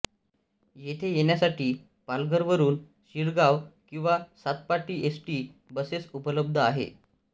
येथे येण्यासाठी पालघरवरुन शिरगाव किंवा सातपाटी एसटी बसेस उपलब्ध आहेत